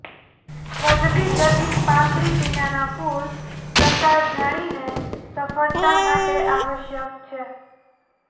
વધતી જતી પાંખડી વિનાનાં ફૂલ પ્રકાર જાણીને સફળતા માટે આવશ્યક છે